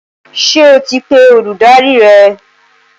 Ṣé o ti pe olùdarí rẹ?